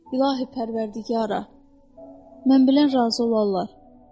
İlahi Pərvərdigara, mən bilən razı olarlar.